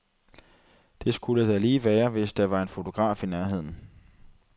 Det skulle da lige være, hvis der var en fotograf i nærheden.